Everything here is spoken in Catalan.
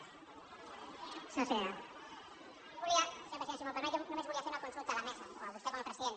senyor president si m’ho permet jo només volia fer una consulta a la mesa o a vostè com a president